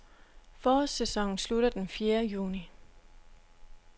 Forårssæsonen slutter den fjerde juni.